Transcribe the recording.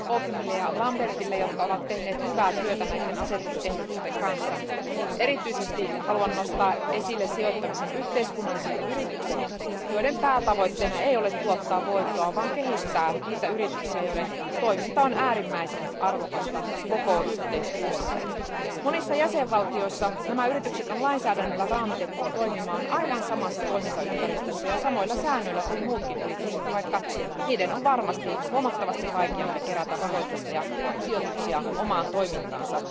Arvoisa puhemies, kiitokset esittelijä Auconielle ja esittelijä Lambertsille, jotka ovat tehneet hyvää työtä näiden asetusehdotusten kanssa. Erityisesti haluan nostaa esille sijoittamisen yhteiskunnallisiin yrityksiin, joiden päätavoitteena ei ole tuottaa voittoa vaan kehittää niitä yrityksiä, joiden toiminta on äärimmäisen arvokasta koko yhteiskunnalle. Monissa jäsenvaltioissa nämä yritykset on lainsäädännöllä raamitettu toimimaan aivan samassa toimintaympäristössä ja samoilla säännöillä kuin muutkin yritykset, vaikka niiden on varmasti huomattavasti vaikeampi kerätä rahoitusta ja sijoituksia omaan toimintaansa.